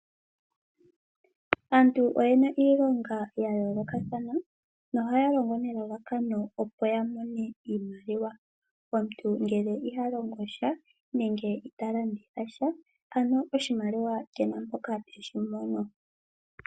Aantu oyena iilonga ya yoolokathana nohaya longo nelalakano opo ya mone iimaliwa ,omuntu ngele iha longosha nenge ita landitha sha ano oshimaliwa kena mpoka teshi mono.